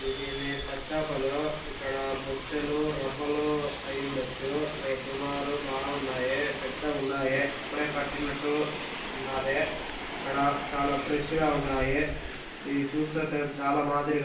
ఇది మి పచ్చి చేపలు ఇక్కడ బొచ్చులు రవ్వలు ఐయ్యుండొచ్చు. సుమారు బాగున్నాయి. పెద్దగున్నయి.ఇప్పుడే పట్టినట్టు ఉన్నాది. ఇక్కడ చాలా ఫ్రెష్ గా ఉన్నాయ్. ఇది చూస్తుంటే చాలా మాదిరిగా--